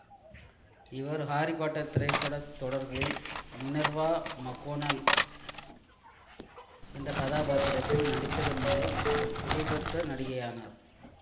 இவர் Harry Potter திரைப்பட தொடர்களில் மினர்வா மக்கோனல் என்ற கதாபாத்திரத்தில் நடித்ததன் மூலம் புகழ் பெற்ற நடிகை ஆனார்